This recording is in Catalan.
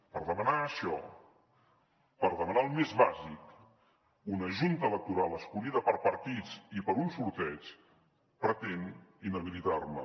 per demanar això per demanar el més bàsic una junta electoral escollida per partits i per un sorteig pretén inhabilitar me